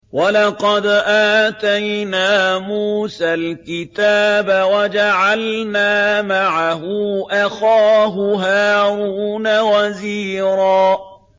وَلَقَدْ آتَيْنَا مُوسَى الْكِتَابَ وَجَعَلْنَا مَعَهُ أَخَاهُ هَارُونَ وَزِيرًا